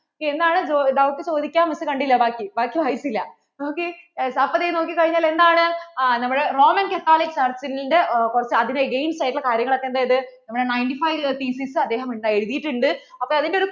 എന്നാലും doubt ചോദിക്കാൻ miss കണ്ടില്ല ബാക്കി, ബാക്കി വായിച്ചില്ല ok അപ്പോൾ ദേ നോക്കികഴിഞ്ഞാല്‍ എന്താണ്? ആ നമ്മുടെ Roman Catholic Church ന്‍റെ കുറച്ചു അതിൻ്റെ against ആയിട്ട് ഉള്ള കാര്യങ്ങൾക്കു ഒക്കെ എന്ത്‌ചെയ്തു നമ്മടെ ninety fiveThesis അദ്ദേഹം എഴുതിട്ടിട്ടുണ്ട് അപ്പോൾ അതിൻ്റെ ഒരു